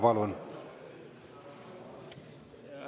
Palun!